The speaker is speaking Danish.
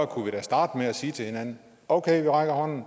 kunne da starte med at sige til hinanden okay vi rækker hånden